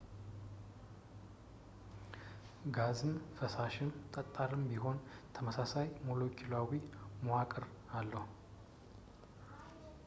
ጋዝም ፈሳሽም ጠጣርም ቢሆን ተመሳሳይ ሞሎኪውላዊ መዋቅር አለው